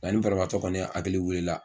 Nka ni barabaatɔ kɔni hakili wuli la